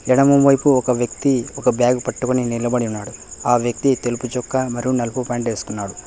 ఎడమవైపు ఒక వ్యక్తి ఒక బ్యాగ్ పట్టుకొని నిలబడి ఉన్నాడు ఆ వ్యక్తి తెలుపు చొక్కా మరియు నలుపు ప్యాంటు వేసుకున్నాడు.